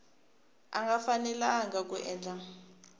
a nga fanelanga ku endla